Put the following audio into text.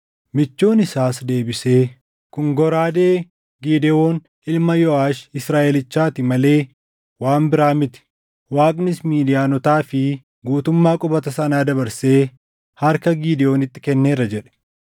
Michuun isaas deebisee, “Kun goraadee Gidewoon ilma Yooʼaash Israaʼelichaati malee waan biraa miti. Waaqnis Midiyaanotaa fi guutummaa qubata sanaa dabarsee harka Gidewoonitti kenneera” jedhe.